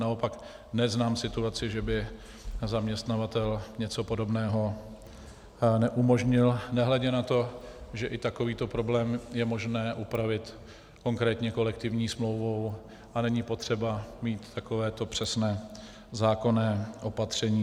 Naopak neznám situaci, že by zaměstnavatel něco podobného neumožnil, nehledě na to, že i takovýto problém je možné upravit konkrétně kolektivní smlouvou a není potřeba mít takovéto přesné zákonné opatření.